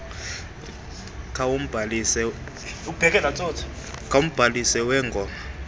kumbhalisi wee gmo